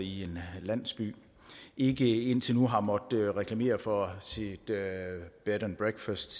i en landsby ikke indtil nu har måttet reklamere for sit bed and breakfast